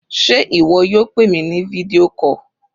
Sé ìwọ yóò pè mi ní fídíò call?